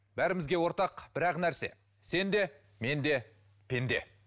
бәрімізге ортақ бір ақ нәрсе сен де мен де пенде